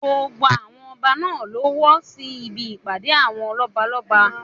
Gbogbo àwọn ọba náà ló wọ sí ibi ìpàdé àwọn lọ́balọ́ba.